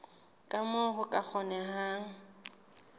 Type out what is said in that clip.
ka moo ho ka kgonehang